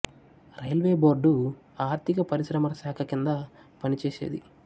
railway board ఆర్థిక పరిశ్రమల శాఖ కింద పని చేసేది